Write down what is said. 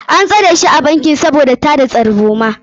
An tsare shi a bankin sabida tada tarzoma.